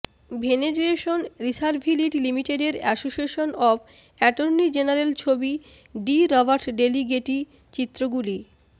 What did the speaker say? ভেনেজুয়েশন রিসার্ভিলিড লিমিটেডের association of attorney general ছবি ডি রবার্ট ড্যালি গেটি চিত্রগুলি